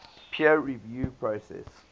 peer review process